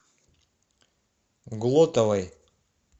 глотовой